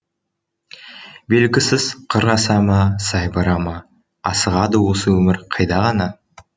белгісіз қыр аса ма сай бара ма асығады осы өмір қайда ғана